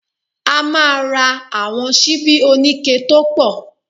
A máa ra àwọn síbí oníke tó pọ̀